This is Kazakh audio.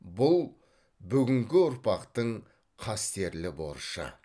бұл бүгінгі ұрпақтың қастерлі борышы